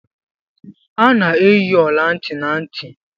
A na-eyi ọla ntị na ntị.